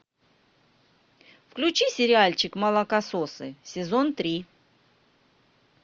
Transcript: включи сериальчик молокососы сезон три